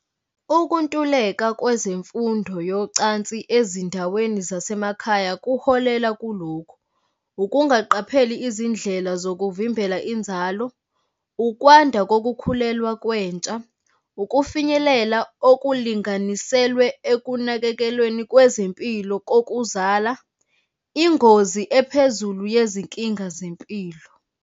Ukuntuleka kwezemfundo yocansi ezindaweni zasemakhaya kuholela kulokhu, ukungaqapheleli izindlela zokuvimbela inzalo, ukwanda kokukhulelwa kwentsha, ukufinyelela okulinganiselwe ekunakekelweni kwezempilo kokuzala, ingozi ephezulu yezinkinga zempilo.